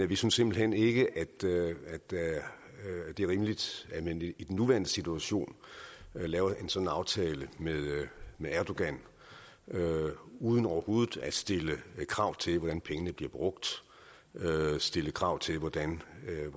vi synes simpelt hen ikke at det er rimeligt at man i den nuværende situation laver en sådan aftale med erdogan uden overhovedet at stille krav til hvordan pengene bliver brugt stille krav til hvordan